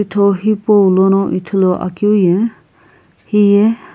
photo hipaulono ithuluakeu ye hiye.